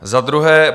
Za druhé.